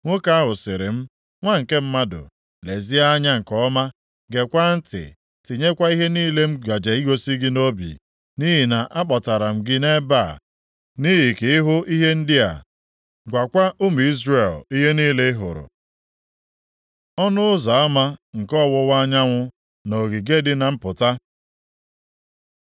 Nwoke ahụ sịrị m, “Nwa nke mmadụ, lezie anya nke ọma, gekwaa ntị tinyekwa ihe niile m gaje igosi gị nʼobi, nʼihi na-akpọtara m gị nʼebe a nʼihi ka ịhụ ihe ndị a. Gwakwa ụmụ Izrel ihe niile ị hụrụ.” Ọnụ ụzọ ama nke ọwụwa anyanwụ na ogige dị na mpụta